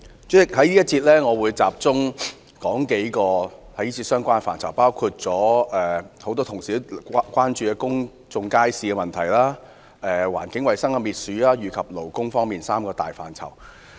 主席，在這個辯論環節，我會集中論述數個相關範疇，包括許多議員也關注的公眾街市問題、環境衞生及勞工事務三大範疇。